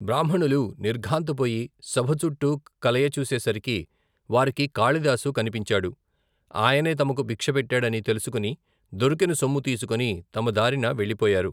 బ్రాహ్మణులు నిర్ఘాంతపోయి సభ చుట్టూ కలయచూసేసరికి వారికి కాళిదాసు కనిపించాడు ఆయనే తమకు బిక్షపెట్టాడని తెలుసుకుని దొరికిన సొమ్ము తీసుకుని తమ దారిన వెళ్లిపోయారు.